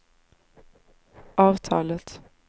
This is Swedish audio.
avtalet